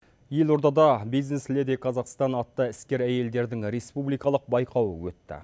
елордада бизнес леди казахстан атты іскер әйелдердің республикалық байқауы өтті